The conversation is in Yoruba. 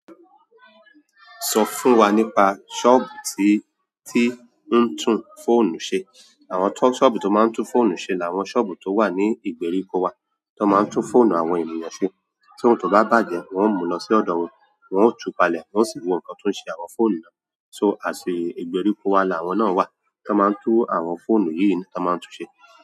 Sọ fún wa nípa sọ́ọ̀bù tí ń tún fóònù ṣe? Àwọn sọ́ọ̀bù tó máa ń tún fóònù ṣe làwọn sọ́ọ̀bù tó wà ní ìgbèríko wa, tó máa ń tún fóònù àwọn ènìyàn ṣe. Tí ohun tó bá bàjẹ́, wọ́n ó mú lọ sí ọ̀dọ̀ wọn, wọ́n ó túpalẹ̀, wọ́n sì wo nǹkan tó ń ṣe àwọn fóònù náà. So, àsìkò ìgbèríko wa làwọn náà wà tí wọ́n máa ń tún àwọn fóònù yìí tí wọ́n máa ń tun ṣe.